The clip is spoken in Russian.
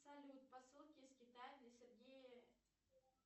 салют посылки из китая для сергея